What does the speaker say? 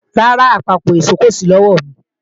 Rárá, àpapọ̀ ìṣó kò sí lọ́wọ̀mi